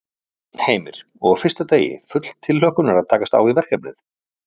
Heimir: Og á fyrsta degi, full tilhlökkunar að takast á við verkefnið?